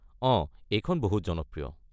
অঁ, এইখন বহুত জনপ্ৰিয়।